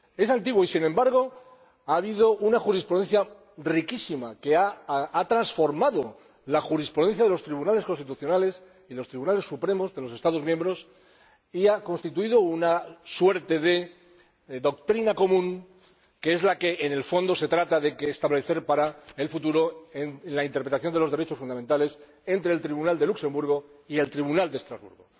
Es antiguo y, sin embargo, ha habido una jurisprudencia riquísima que ha transformado la jurisprudencia de los Tribunales Constitucionales, de los Tribunales Supremos de los Estados miembros, y ha constituido una suerte de doctrina común que es la que en el fondo se trata de establecer para el futuro en la interpretación de los derechos fundamentales entre el Tribunal de Luxemburgo y el Tribunal de Estrasburgo.